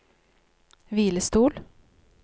hvilestol